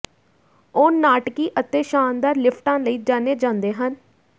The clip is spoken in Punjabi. ਉਹ ਨਾਟਕੀ ਅਤੇ ਸ਼ਾਨਦਾਰ ਲਿਫਟਾਂ ਲਈ ਜਾਣੇ ਜਾਂਦੇ ਹਨ